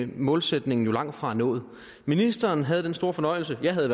målsætningen langtfra nået ministeren havde den store fornøjelse jeg havde